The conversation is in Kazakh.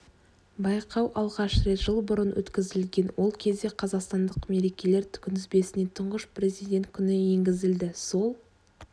байқау алғаш рет жыл бұрын өткізілген ол кезде қазақстандық мерекелер күнтізбесіне тұңғыш президент күні енгізілді сол